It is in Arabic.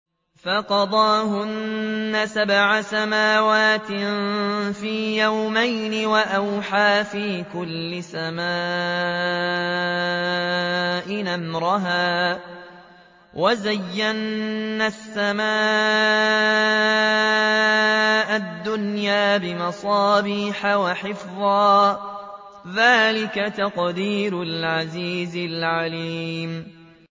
فَقَضَاهُنَّ سَبْعَ سَمَاوَاتٍ فِي يَوْمَيْنِ وَأَوْحَىٰ فِي كُلِّ سَمَاءٍ أَمْرَهَا ۚ وَزَيَّنَّا السَّمَاءَ الدُّنْيَا بِمَصَابِيحَ وَحِفْظًا ۚ ذَٰلِكَ تَقْدِيرُ الْعَزِيزِ الْعَلِيمِ